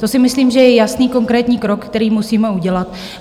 To si myslím, že je jasný konkrétní krok, který musíme udělat.